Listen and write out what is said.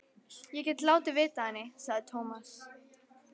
Ég get látið vita af henni, sagði Tómas.